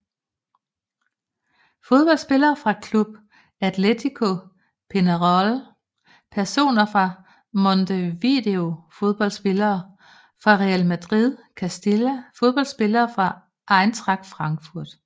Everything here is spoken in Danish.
Fodboldspillere fra Club Atlético Peñarol Personer fra Montevideo Fodboldspillere fra Real Madrid Castilla Fodboldspillere fra Eintracht Frankfurt